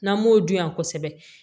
N'an m'o dun yan kosɛbɛ